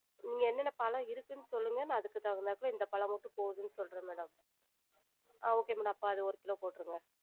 நீங்க என்னென்ன பழம் இருக்குனு சொல்லுங்க? நா அதுக்கு தகுந்தாப்புல இந்த பழம் மட்டும் போதும்ன்னு சொல்றன் madam ஆஹ் okay madam அப்ப அது ஒரு கிலோ போற்றுங்க